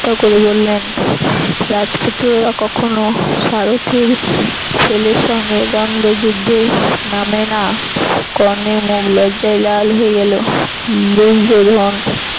করে বললেন রাজপুত্রেরা কখনো সারথির ছেলের সঙ্গে দন্দ্ব যুদ্ধে নামে না। কর্ণের মুখ লজ্জায় লাল হয়ে গেল দুর্যোধন